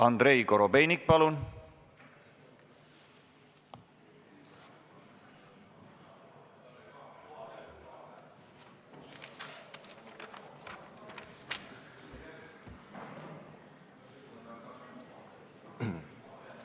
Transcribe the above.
Andrei Korobeinik, palun!